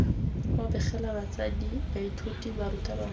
u begela batsadi baithuti barutabana